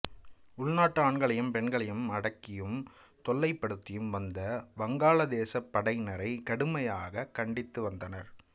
உள்நாட்டு ஆண்களையும் பெண்களையும் அடக்கியும் தொல்லைப் படுத்தியும் வந்த வங்காளதேசப் படையினரை கடுமையாக கண்டித்து வந்தார்